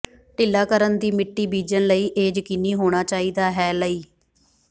ਢਿੱਲਾ ਕਰਨ ਦੀ ਮਿੱਟੀ ਬੀਜਣ ਲਈ ਇਹ ਯਕੀਨੀ ਹੋਣਾ ਚਾਹੀਦਾ ਹੈ ਲਈ